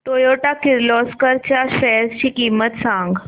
Toyota Kirloskar च्या shares ची किंमत सांग